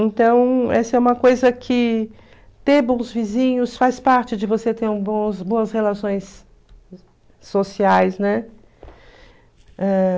Então, essa é uma coisa que ter bons vizinhos faz parte de você ter um bom boas relações sociais, né?